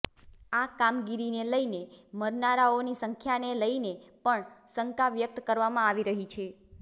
આ કામગીરીને લઈને મરનારાઓની સંખ્યાને લઈને પણ શંકા વ્યક્ત કરવામાં આવી રહી છે